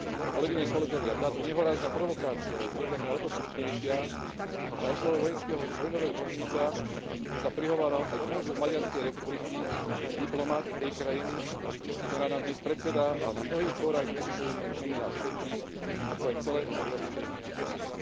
Kolegyne, kolegovia, táto nehorázna provokácia je podľa mňa o to smutnejšia, že na oslave vojenského vojnového zločinca sa prihováral aj konzul Maďarskej republiky diplomat tej krajiny, ktorá nám dnes predsedá a na mnohých fórach vystupuje v mene nás všetkých, ako aj celej Európskej únie.